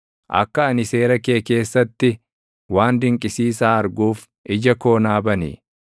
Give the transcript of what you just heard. Akka ani seera kee keessatti waan dinqisiisaa arguuf, ija koo naa bani.